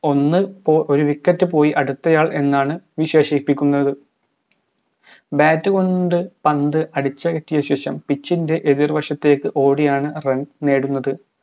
ഒന്ന് പോ ഒരു wicket പോയി അടുത്തയാൾ എന്നാണ് വിശേഷിപ്പിക്കുന്നത് bat കൊണ്ട് പന്ത് അടിച്ചകറ്റിയ ശേഷം pitch എതിർ വശത്തേക്ക് ഓടിയാണ് run നേടുന്നത്